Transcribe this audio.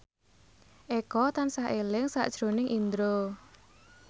Eko tansah eling sakjroning Indro